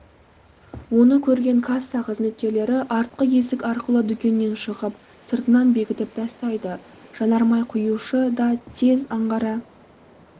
оны көрген касса қызметкерлері артқы есік арқылы дүкеннен шығып сыртынан бекітіп тастайды жанармай құюшы датез аңғара